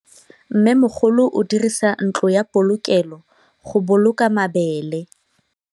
Mmêmogolô o dirisa ntlo ya polokêlô, go boloka mabele.